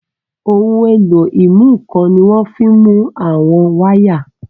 Ohun èlò ìmúnǹkan ni wọ́n fi ń mú àwọn wáyà